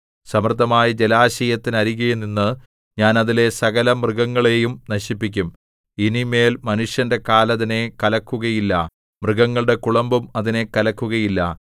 സമൃദ്ധമായ ജലാശയത്തിനരികെനിന്നു ഞാൻ അതിലെ സകലമൃഗങ്ങളെയും നശിപ്പിക്കും ഇനി മേൽ മനുഷ്യന്റെ കാൽ അതിനെ കലക്കുകയില്ല മൃഗങ്ങളുടെ കുളമ്പും അതിനെ കലക്കുകയില്ല